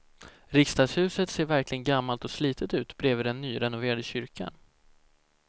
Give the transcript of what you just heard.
Riksdagshuset ser verkligen gammalt och slitet ut bredvid den nyrenoverade kyrkan.